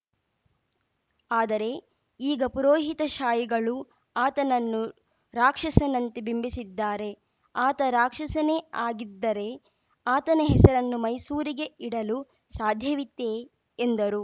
ಆದರೆ ಈಗ ಪುರೋಹಿತಶಾಹಿಗಳು ಆತನನ್ನು ರಾಕ್ಷಸನಂತೆ ಬಿಂಬಿಸಿದ್ದಾರೆ ಆತ ರಾಕ್ಷನೇ ಆಗಿದ್ದರೆ ಆತನ ಹೆಸರನ್ನು ಮೈಸೂರಿಗೆ ಇಡಲು ಸಾಧ್ಯವಿತ್ತೆ ಎಂದರು